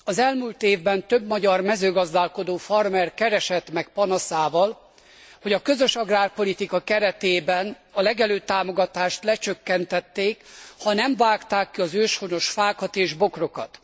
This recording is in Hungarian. Az elmúlt évben több magyar mezőgazdálkodó, farmer keresett meg panaszával, hogy a közös agrárpolitika keretében a legelőtámogatást lecsökkentették, ha nem vágták ki az őshonos fákat és bokrokat.